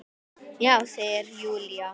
Já, segir Júlía.